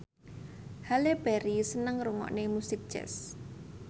Halle Berry seneng ngrungokne musik jazz